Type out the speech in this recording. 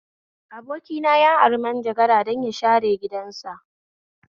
Abokina ya ari manjagara don ya share gidansa